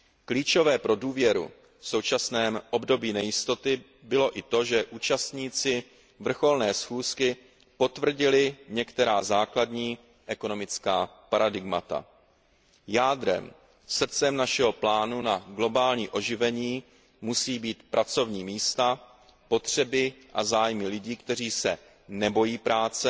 Klíčové pro důvěru v současném období nejistoty bylo i to, že účastníci vrcholné schůzky potvrdili některá základní ekonomická paradigmata jádrem, srdcem našeho plánu na globální oživení musí být pracovní místa, potřeby a zájmy lidí, kteří se nebojí práce,